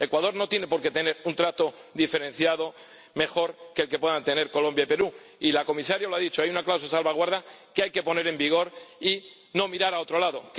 Ecuador no tiene por qué tener un trato diferenciado mejor que el que puedan tener Colombia y Perú, y la Comisaria lo ha dicho hay una cláusula de salvaguardia que hay que poner en vigor y no mirar hacia otro lado.